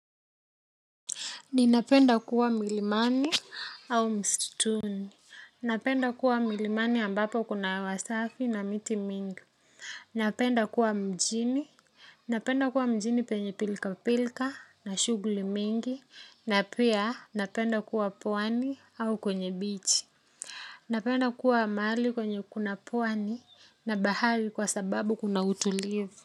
Ninapenda kuwa mlimani au msituni. Napenda kuwa milimani ambapo kuna hewa safi na miti mingi napenda kuwa mjini. Napenda kuwa mjini penye pilka pilka na shughuli mingi. Na pia napenda kuwa pwani au kwenye bichi. Napenda kuwa mahali kwenye kuna pwani na bahari kwa sababu kuna utulivu.